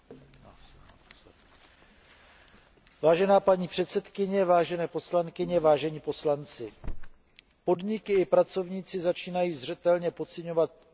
Vážená paní předsedkyně, vážené poslankyně, vážení poslanci, podniky i pracovníci začínají zřetelně pociťovat dopady finanční a hospodářské krize.